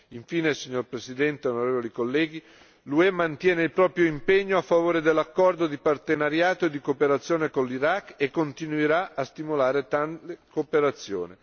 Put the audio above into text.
Infine, signor Presidente, onorevoli deputati, l'UE mantiene il proprio impegno a favore dell'accordo di partenariato e di cooperazione con l'Iraq e continuerà a stimolare tale cooperazione.